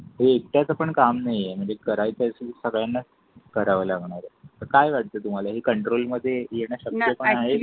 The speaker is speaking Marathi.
हो एकट्याच पण काम नाहीये म्हणजे करायची असेल सगळ्यांना करावे लागणार आहे काय वाटते तुम्हाला हे कंट्रोलमध्ये येण्याची शक्यत आहे?